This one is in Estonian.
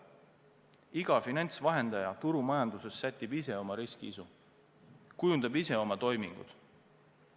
Iga finantsvahendaja turumajanduses sätib ise oma riskiisu, kujundab ise oma toimingud.